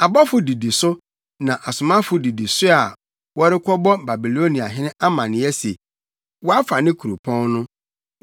Abɔfo didi so na asomafo didi so a wɔrekɔbɔ Babiloniahene amanneɛ se, wɔafa ne kuropɔn no,